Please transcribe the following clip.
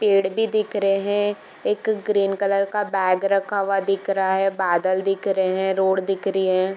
पेड़ भी दिख रहे हैं एक ग्रीन कलर का बैग रखा हुआ दिख रहा है बादल दिख रहे हैं रोड दिख रही है।